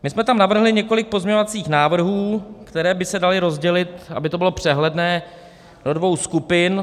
My jsme tam navrhli několik pozměňovacích návrhů, které by se daly rozdělit, aby to bylo přehledné, do dvou skupin.